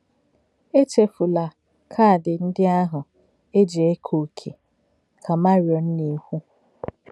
“ Èchè̄fù̄lá̄ káàdì̄ ndí̄ àhụ̄ ē jì̄ éké̄ òkè̄, ” ka Má̄riòn nā-è̄kwù̄.